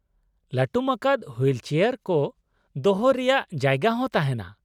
ᱞᱟᱹᱴᱩᱢ ᱟᱠᱟᱫ ᱦᱩᱭᱤᱞ ᱪᱮᱭᱟᱨ ᱠᱚ ᱫᱚᱦᱚ ᱨᱮᱭᱟᱜ ᱡᱟᱭᱜᱟ ᱦᱚᱸ ᱛᱟᱦᱮᱱᱟ ᱾